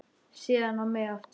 Síðan á mig aftur.